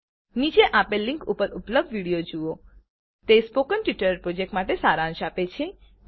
નીચે આપેલ લીંક ઉપર ઉપલબ્ધ વિડીઓ જુઓ તે સ્પોકન ટ્યુટોરીયલ પ્રોજેક્ટ માટે સારાંશ આપે છે